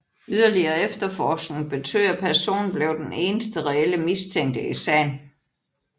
Yderligere efterforskning betød at personen blev den eneste reelle mistænkte i sagen